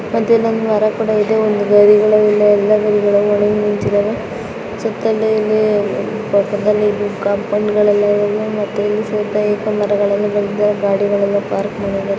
ಮತ್ತೆ ಇಲ್ಲೊಂದು ಮರ ಕೂಡ ಇದೆ ನಿಂತಿದವೆ ಗಾಡಿಗಳೆಲ್ಲ ಪಾರ್ಕ್ ಮಾಡಿದ್ದಾರೆ